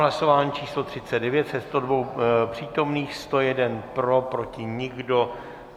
Hlasování číslo 39, ze 102 přítomných 101 pro, proti nikdo.